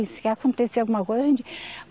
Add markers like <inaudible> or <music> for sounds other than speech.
Isso que acontecer alguma coisa? <unintelligible>